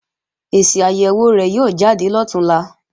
Èsì àyèwò rẹ̀ yóò jáde lọ̀túnla